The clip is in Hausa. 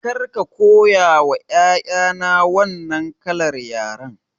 Kar ka koya ma 'ya'ya na wannan kalar yaren!